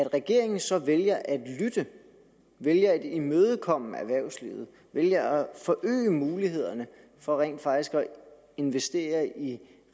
regeringen så vælger at lytte vælger at imødekomme erhvervslivet vælger at forøge mulighederne for rent faktisk at investere i